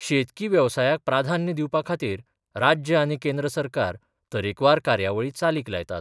शेतकी वेवसायाक प्राधान्य दिवपा खातीर राज्य आनी केंद्र सरकार तरेकवार कार्यावळी चालीक लायतात.